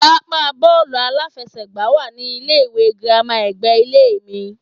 Pápá bóòlù aláfesègbá wá ní ilé ìwé girama ègbé ilé mi